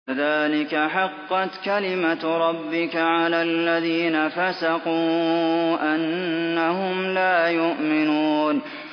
كَذَٰلِكَ حَقَّتْ كَلِمَتُ رَبِّكَ عَلَى الَّذِينَ فَسَقُوا أَنَّهُمْ لَا يُؤْمِنُونَ